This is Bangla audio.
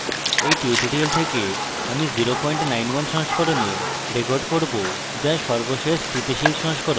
এই tutorial থেকে আমি 091 সংস্করণে record করব যা সর্বশেষ স্থিতিশীল সংস্করণ